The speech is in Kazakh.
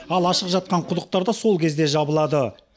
ал ашық жатқан құдықтар да сол кезде жабылады